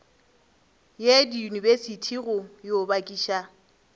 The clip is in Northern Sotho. ye diyunibesithi go yo bakiša